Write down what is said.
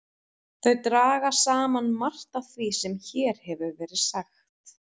Þau draga saman margt af því sem hér hefur verið sagt.